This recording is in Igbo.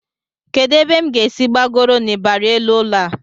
Kedụ ebe m ga-esi gbagoro n'ịbarị elu ụlọ a?